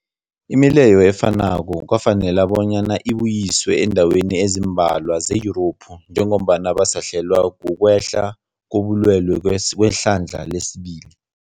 Imileyo efanako kwafanela bonyana ibuyiswe eendaweni ezimbalwa ze-Yurophu njengombana basahlelwa, kukwehla kobulwele kwehlandla lesibili.